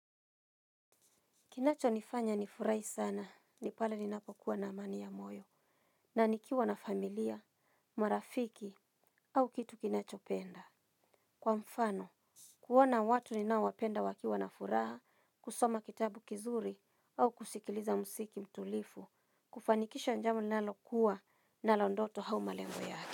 Kinacho nifanya nifurai sana, ni pale ninapokuwa na amani ya moyo, na nikiwa na familia, marafiki, au kitu kinacho penda. Kwa mfano, kuona watu ninaowapenda wakiwa na furaha, kusoma kitabu kizuri, au kusikiliza musiki mtulifu, kufanikisha njama nalokuwa nalo ndoto au malengo yake.